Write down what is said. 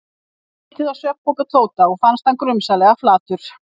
Honum varð litið á svefnpoka Tóta og fannst hann grunsamlega flatur.